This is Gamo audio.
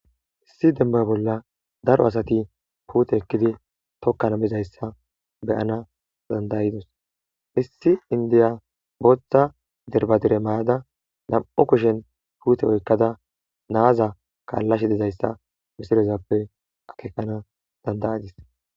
issi demba bolla daro asati puute ekkidi tokkana bizayssa beyana dandayidos issi indiya booththa derbadire mayada nam7u kushen puute oykkada naaza kaallashe dizayssa misilezappe akekana dandayidis